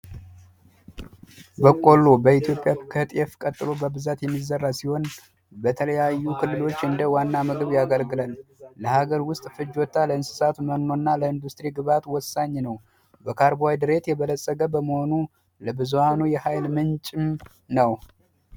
በቀሎ በኢትዮጵያ ከጤፍ ቀጥሎ በብዛት የሚዘራ ሲሆን በተለያዩ ክልሎች እንደ ዋና ምግብ ያገለግላል ለሀገር ውስጥ ፍጆታ ለእንስሳት መኖ እና ለኢንዱስትሪ ግብዓት ወሳኝ ነው በካርቦሀይድሬት የበለፀገ በመሆኑ ብዙሃኑ የኃይል ምንጭ ነው።